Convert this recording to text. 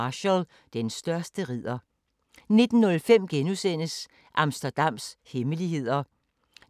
02:30: Hjemme hos William 04:15: Kvit eller Dobbelt